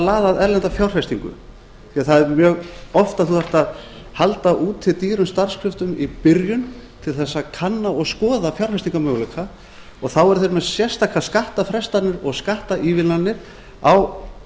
laða að erlenda fjárfestingu því að það er mjög oft að þú þarft að halda úti dýrum starfskröftum í byrjun til þess að kanna og skoða fjárfestingarmöguleika og þá eru þeir með sérstakar skattafrestanir og skattaívilnanir á